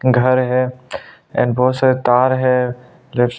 घर है एंड बहोत सारे तार है।